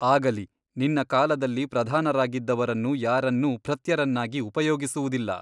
ಆಗಲಿ ನಿನ್ನ ಕಾಲದಲ್ಲಿ ಪ್ರಧಾನರಾಗಿದ್ದವರನ್ನು ಯಾರನ್ನೂ ಭೃತ್ಯರನ್ನಾಗಿ ಉಪಯೋಗಿಸುವುದಿಲ್ಲ.